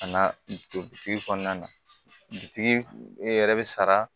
Ka na don bitigi kɔnɔna na bitigi e yɛrɛ bɛ sara